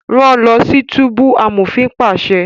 Rán lọ sí túbú! amofin paṣẹ